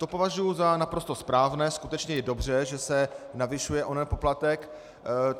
To považuji za naprosto správné, skutečně je dobře, že se navyšuje onen poplatek.